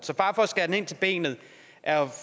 så bare for at skære ind til benet er